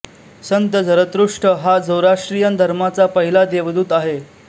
संत Zarathustra हा Zoroastrian धर्माचा पहिला देवदूत आहे